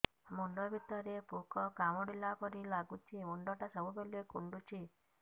ମୁଣ୍ଡ ଭିତରେ ପୁକ କାମୁଡ଼ିଲା ପରି ଲାଗୁଛି ମୁଣ୍ଡ ଟା ସବୁବେଳେ କୁଣ୍ଡୁଚି